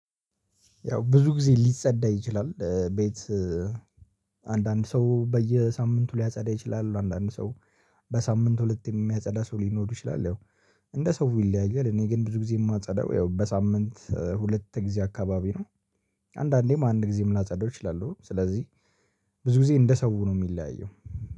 ያው ብዙ ጊዜ ሊጸዳ ይችላል ቤት። አንዳንድ ሰው በየሳምንቱ ሊያጸዳ ይችላል አንዳንድ ሰው። በሳምንት ሁለቴ የሚያጸዳ ሰው ሊኖር ይችላል ያው እንደ ሰው ይለያያል። እኔ ግን ብዙ ጊዜ የማጸዳው ያው በሳምንት ሁለት ጊዜ አካባቢ ነው። አንዳንዴም አንድ ጊዜ ምናጸዳው እችላለሁ። ስለዚህ ብዙ ጊዜ እንደ ሰው ነው የሚለያየው